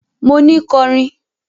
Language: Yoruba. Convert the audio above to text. Mo ni kọrin!